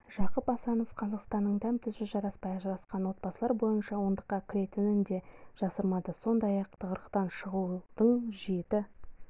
жақып асанов қазақстанның дәм-тұзы жараспай ажырасқан отбасылар бойынша ондыққа кіретінін де жасырмады сондай-ақ тығырықтан шығудың жеті